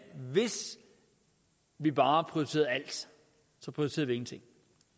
hvis vi bare prioriterer alt så prioriterer vi ingenting